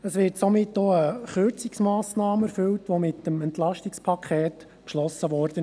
Es wird somit auch eine Kürzungsmassnahme erfüllt, die mit dem Entlastungspaket beschlossen wurde.